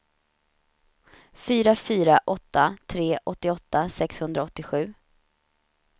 fyra fyra åtta tre åttioåtta sexhundraåttiosju